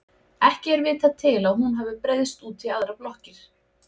Ekki er vitað til að hún hafi breiðst út í aðrar blokkir.